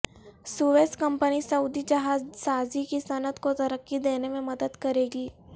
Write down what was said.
Swiss company Saudi جہاز سازی کی صنعت کو ترقی دینے میں مدد کرے گی